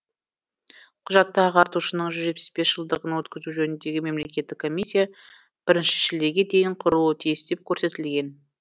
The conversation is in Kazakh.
құжатта ағартушының жүз жетпіс бес жылдығын өткізу жөніндегі мемлекеттік комиссия бірінші шілдеге дейін құрылуы тиіс деп көрсетілген